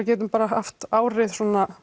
geti haft árið